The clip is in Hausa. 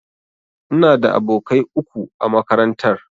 Ina da abokai uku a makarantar.